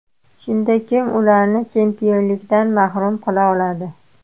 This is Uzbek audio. Shunda kim ularni chempionlikdan mahrum qila oladi?